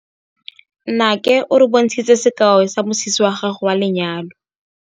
Nnake o re bontshitse sekaô sa mosese wa gagwe wa lenyalo.